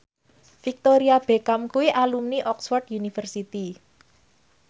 Victoria Beckham kuwi alumni Oxford university